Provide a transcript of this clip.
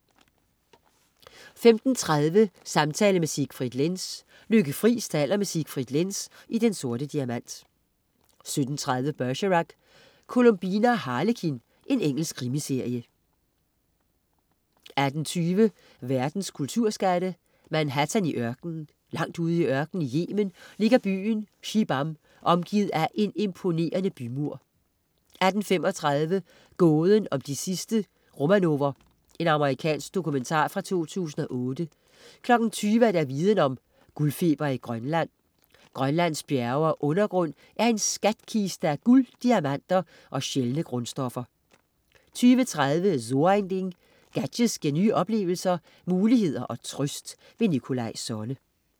15.30 Samtale med Siegfried Lenz. Lykke Friis taler med Siegfried Lenz i Den Sorte Diamant 17.30 Bergerac: Columbine og Harlekin. Engelsk krimiserie 18.20 Verdens kulturskatte. "Manhattan i ørkenen". Langt ude i ørkenen i Yemen ligger byen Shibam omgivet af en imponerende bymur 18.35 Gåden om de sidste Romanover. Amerikansk dokumentar fra 2008 20.00 Viden Om: Guldfeber i Grønland. Grønlands bjerge og undergrund er en skatkiste af guld, diamanter og sjældne grundstoffer 20.30 So ein Ding. Gadgets giver nye oplevelser, muligheder og trøst. Nikolaj Sonne